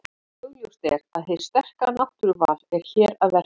Augljóst er að hið sterka náttúruval er hér að verki.